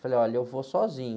Falei, olha, eu vou sozinho.